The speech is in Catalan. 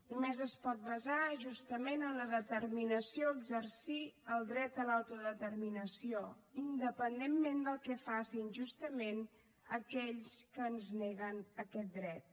només es pot basar justament en la determinació a exercir el dret a l’autodeterminació independentment del que facin justament aquells que ens neguen aquest dret